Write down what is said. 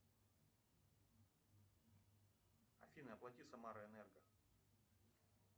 афина оплати самара энерго